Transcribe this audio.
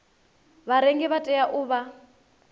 vharengi vha tea u vha